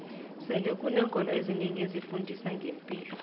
sele kuneenkolo ezinengi ezifundiso zempilo